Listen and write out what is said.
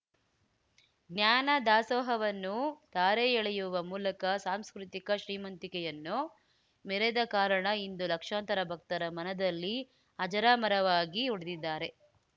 ಜ್ಞಾನದಾಸೋಹವನ್ನು ಧಾರೆ ಎಳೆಯುವ ಮೂಲಕ ಸಾಂಸ್ಕೃತಿಕ ಶ್ರೀಮಂತಿಕೆಯನ್ನು ಮೆರೆದ ಕಾರಣ ಇಂದು ಲಕ್ಷಾಂತರ ಭಕ್ತರ ಮನದಲ್ಲಿ ಅಜರಾಮರವಾಗಿ ಉಳಿದಿದ್ದಾರೆ